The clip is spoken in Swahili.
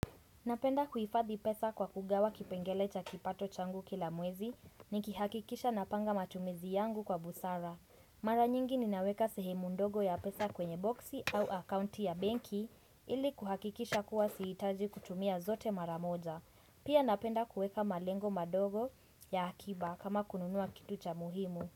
Napenda kuhifadhi pesa kwa kugawa kipengele cha kipato changu kila mwezi ni kihakikisha na panga matumizi yangu kwa busara. Mara nyingi ninaweka sehemu ndogo ya pesa kwenye boksi au akaunti ya banki ili kuhakikisha kuwa sihitaji kutumia zote maramoja. Pia napenda kuweka malengo madogo ya akiba kama kununua kitu cha muhimu.